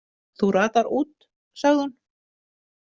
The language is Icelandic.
Þú ratar út, sagði hún.